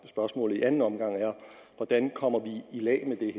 spørgsmålet i anden omgang er hvordan kommer vi i lag